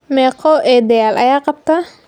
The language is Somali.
Meqoo eedayal ayaa qabta?